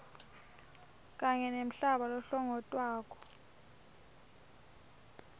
kanye nemhlaba lohlongotwako